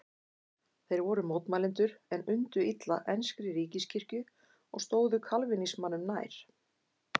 Þeir voru mótmælendur en undu illa enskri ríkiskirkju og stóðu kalvínismanum nær.